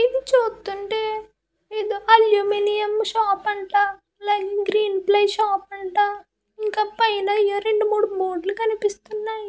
ఇది చూస్తుంటే ఏదో అల్యూమినియం షాప్ అంట లైన్ గ్రీన్ ప్లే షాప్ అంట ఇక పైన ఏయో రెండు మూడు లు కనిపిస్తున్నాయి.